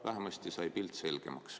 Vähemasti sai pilt selgemaks.